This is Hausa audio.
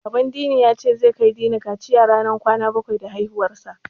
Baban Dini ya ce, zai kai Dini kaciya ranar kwana bakwai da haihuwarsa.